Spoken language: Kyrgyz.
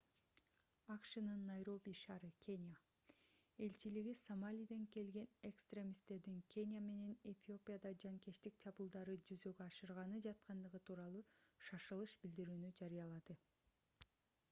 акшнын найроби ш. кения элчилиги сомалиден келген экстремисттердин кения менен эфиопияда жанкечтик чабуулдарын жүзөгө ашырганы жаткандыгы тууралуу шашылыш билдирүүнү жарыялады